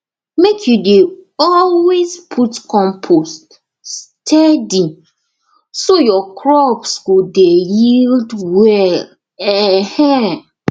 make you dey always put compost steady so your crop go dey yield well um